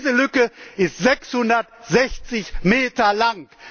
Diese Lücke ist 660 Meter lang!